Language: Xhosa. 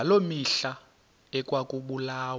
ngaloo mihla ekwakubulawa